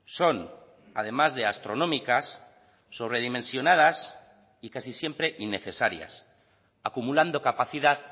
son además de astronómicas sobredimensionadas y casi siempre innecesarias acumulando capacidad